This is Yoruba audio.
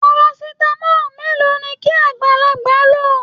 Parasitamọ mélòó ní kí agbalagba ló?